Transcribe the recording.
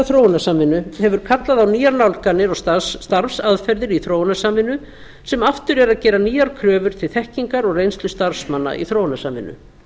þróunarsamvinnu hefur kallað á nýjar nálganir og starfsaðferðir í þróunarsamvinnu sem aftur eru að gera nýjar kröfur til þekkingar og reynslu starfsmanna í þróunarsamvinnu